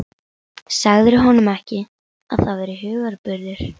Sagðirðu honum ekki, að það væri hugarburður?